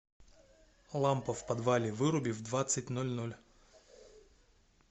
лампа в подвале выруби в двадцать ноль ноль